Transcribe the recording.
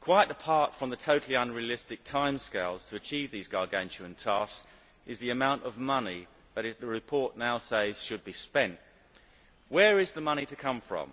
Quite apart from the totally unrealistic timescales to achieve these gargantuan tasks, there is the amount of money that the report now says should be spent. Where is the money to come from?